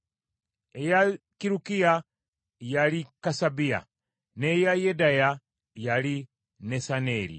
eya Kirukiya, yali Kasabiya; n’eya Yedaya, yali Nesaneeri.